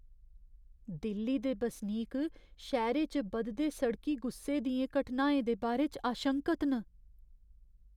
दिल्ली दे बसनीक शैह्‌रे च बधदे सड़की गुस्से दियें घटनाएं दे बारे च आशंकत न।